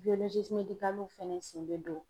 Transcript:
fɛnɛ sen bɛ don